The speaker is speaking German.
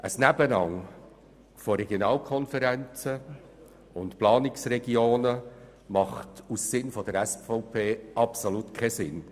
Ein Nebeneinander von Regionalkonferenzen und Planungsregionen macht aus Sicht der SVP absolut keinen Sinn.